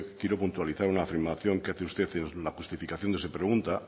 quiero puntualizar una afirmación que hace usted en la justificación de su pregunta